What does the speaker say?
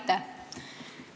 Aitäh!